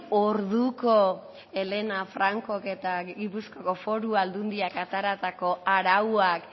orduko helena francok eta gipuzkoako foru aldundiak ateratako arauak